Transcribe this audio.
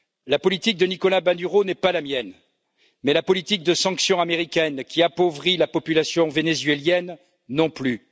La politique de Nicolas Maduro n'est pas la mienne, mais la politique de sanctions américaines qui appauvrit la population vénézuélienne non plus.